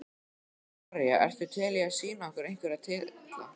María: Ertu til í að sýna okkur einhverja titla?